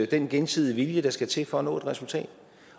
den gensidige vilje der skal til for at nå et resultat